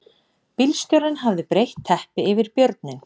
Bílstjórinn hafði breitt teppi yfir björninn